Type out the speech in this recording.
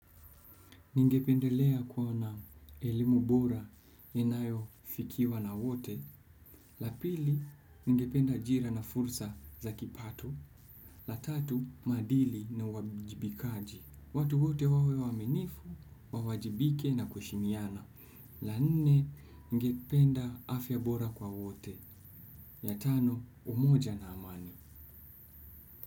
Ningependelea kuwa na, elimu bora, inayofikiwa na wote. La pili, ningependa ajira na fursa za kipato. La tatu, maadili na uwajibikaji. Watu wote wawe waaminifu, wawajibike na kuheshimiana. La nne, ningependa afya bora kwa wote. Ya tano, umoja na amani.